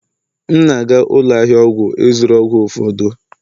M na-aga ụlọ ahịa ọgwụ ịzụrụ ọgwụ ụfọdụ.